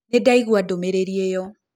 Nĩndaĩgũa ndũmĩrĩrĩ ĩyo.